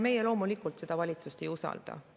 Meie loomulikult seda valitsust ei usalda.